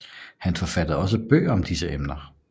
Han forfattede også bøger om disse emner